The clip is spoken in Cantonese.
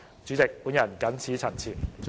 主席，我謹此陳辭。